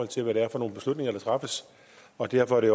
til hvad det er for nogle beslutninger der træffes og derfor er det